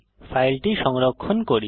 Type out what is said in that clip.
ফাইলটি সংরক্ষণ করি